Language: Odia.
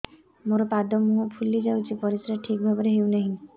ମୋର ପାଦ ମୁହଁ ଫୁଲି ଯାଉଛି ପରିସ୍ରା ଠିକ୍ ଭାବରେ ହେଉନାହିଁ